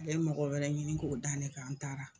A le ye mɔgɔ wɛrɛ ɲini k'o da ne kan an taara.